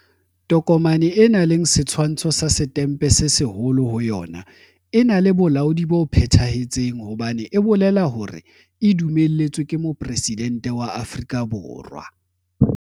Tokomane e nang le setshwantsho sa Setempe se Seholo ho yona e na le bolaodi bo phethahetseng hobane e bolela hore e dumelletswe ke Mopresidente wa Afrika Borwa.